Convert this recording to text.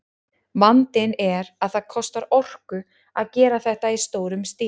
Vandinn er að það kostar orku að gera þetta í stórum stíl.